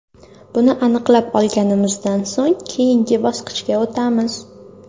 Buni aniqlab olganimizdan so‘ng keyingi bosqichga o‘tamiz.